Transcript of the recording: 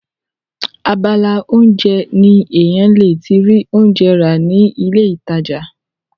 abala oúnjẹ ni èèyàn le ti rí oúnjẹ rà ní ilé ìtajà